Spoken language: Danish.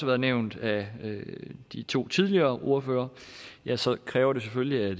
været nævnt af de to tidligere ordførere ja så kræver det selvfølgelig at